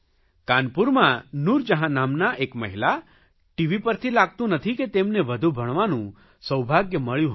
કાનપૂરમાં નૂરજહાં નામનાં એક મહિલા ટીવી પરથી લાગતું નથી કે તેમને વધુ ભણવાનું સૌભાગ્ય મળ્યું હશે